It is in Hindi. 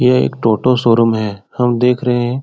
ये एक टोटो शो-रूम है। हम देख रहें हैं।